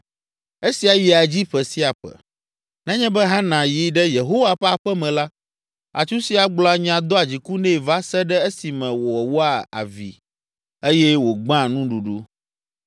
Esia yia dzi ƒe sia ƒe. Nenye be Hana yi ɖe Yehowa ƒe aƒe me la, atsusia gblɔa nya doa dziku nɛ va se ɖe esime wòwoa avi eye wògbea nuɖuɖu.